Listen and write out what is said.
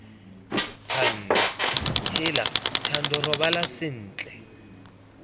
thando heela thando robala sentle